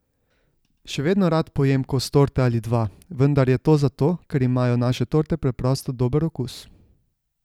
Še vedno rad pojem kos torte ali dva, vendar je to zato, ker imajo naše torte preprosto dober okus.